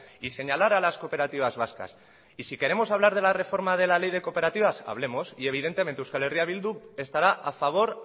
y señalar a las cooperativas vascas y si queremos hablar de la reforma de la ley de cooperativas hablemos y evidentemente euskal herria bildu estará a favor